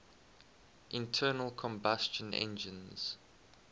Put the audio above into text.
internal combustion engines